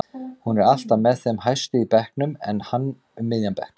Hún er alltaf með þeim hæstu í bekknum en hann um miðjan bekk.